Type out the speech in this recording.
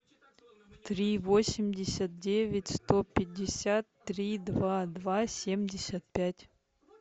три восемьдесят девять сто пятьдесят три два два семьдесят пять